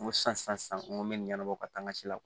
N ko sisan sisan n ko n bɛ nin ɲɛnabɔ ka taa n ka ci la